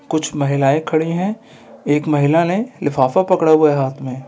कुछ महिलायें खड़े हैं एक महिला ने लिफाफा पकड़ा हुआ है हाथ में ।